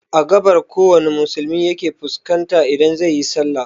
Every Muslim points to the East direction during prayer